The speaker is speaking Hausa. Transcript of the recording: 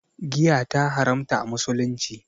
Giya ta haramta a musulunci